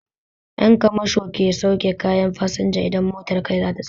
Ƴan kamasho ke sauke kayan fasinja idan motar kai idan za ta tsaya